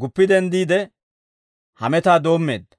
guppi denddiide, hametaa doommeedda.